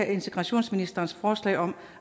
integrationsministerens forslag om